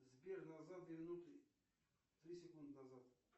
сбер назад две минуты три секунды назад